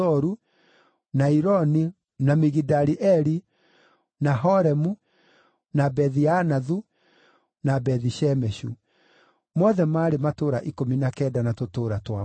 na Ironi, na Migidali-Eli, na Horemu, na Bethi-Anathu, na Bethi-Shemeshu. Mothe maarĩ matũũra ikũmi na kenda na tũtũũra twamo.